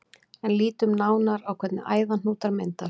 En lítum nánar á hvernig æðahnútar myndast.